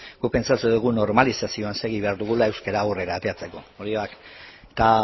guk pentsatzen dugu normalizazioan segi behar dugula euskara aurrera ateratzeko hori bat eta